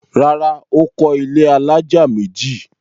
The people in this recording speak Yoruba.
Rárá, Ó kọ́ ilẹ́ alájà méjì